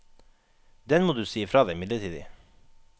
Den må du si ifra deg midlertidig.